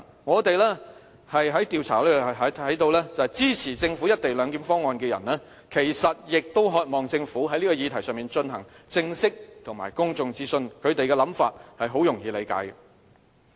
我們在進行調查時看到支持政府"一地兩檢"方案的人其實亦渴望政府在這議題上進行正式和公眾諮詢，他們的想法很容易理解。